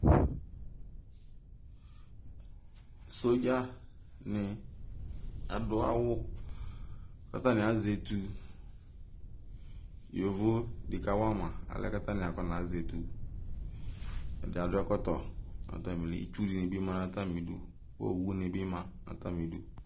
sodzani ɑduawu ɑzetu yovodi kɑwɑmɑ ɑlɛnɛkɑ kɑnazetu ɛdiadu ɛkɔto nɑtɑmili itsudibimɑ nƹqɑtamidu owunibimɑ nɑtamidu